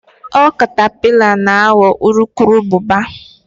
ọ catapillars na ghọọ urukurubụba